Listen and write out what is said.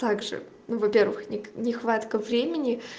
также ну во-первых не к нехватка времени